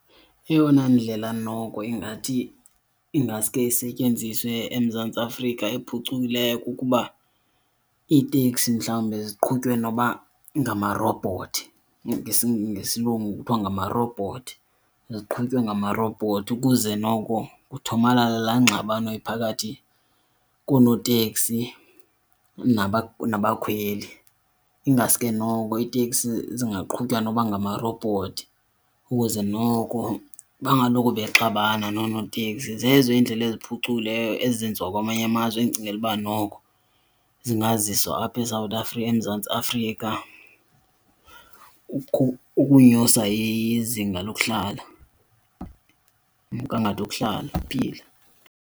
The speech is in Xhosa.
Eyona ndlela noko ingathi ingaske isetyenziswe eMzantsi Afrika ephucukileyo kukuba iiteksi mhlawumbe ziqhutywe noba ngamarobhothi, ngesilungu kuthiwa ngamarobhothi. Ziqhutywe ngamarobhothi ukuze noko kuthomalale laa ngxabano iphakathi koonoteksi nabakhweli. Ingaske noko iiteksi zingaqhutywa noba ngamarobhothi ukuze noko bangaloko bexabana noonoteksi. Zezo iindlela eziphucukileyo ezenziwa kwamanye amazwe endicingela ukuba noko zingaziswa apha eSouth Africa, eMzantsi Afrika, ukunyusa izinga lokuhlala, umgangatho wokuhlala, uphila.